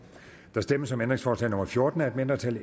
der stemmes om ændringsforslag nummer fjorten af et mindretal